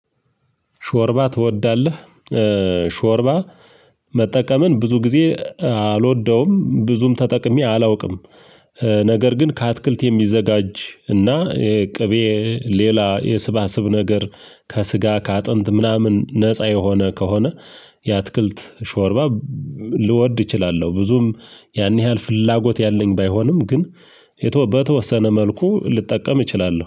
ሾርባ ትወዳለህ? ሾርባ መጠቀምን ብዙ ጊዜ አልወደውም ብዙም ተጠቅሜ አላውቅም ነገር ግን ከአትክልት የሚዘጋጅ እና ቅቤ ሌላ የስብስብ ነገር ከስጋ ከአጥንት ምናምን ነፃ የሆነ ከሆነ የአትክልት ሾርባ ልወድ እችላለሁ። ብዙም ያን ያህል ፍላጎት ያለኝ ባይሆንም ግን የተ በተወሰነ መልኩ ልጠቀም እችላለሁ።